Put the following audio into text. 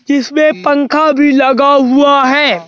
जिसमें पंखा भी लगा हुआ है।